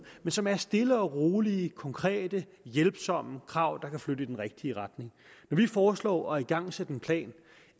men som er stille og rolige konkrete hjælpsomme krav der kan flytte tingene i den rigtige retning vi foreslår at igangsætte en plan